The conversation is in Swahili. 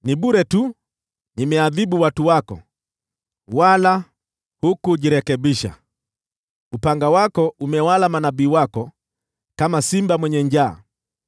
“Nimeadhibu watu wako bure tu, hawakujirekebisha. Upanga wako umewala manabii wako kama simba mwenye njaa.